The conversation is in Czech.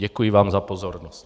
Děkuji vám za pozornost.